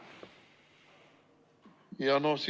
Mart Helme, palun!